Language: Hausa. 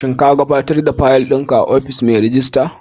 Shin ka gaɓatar da faƴil ɗin ka a ofishin mai rejista?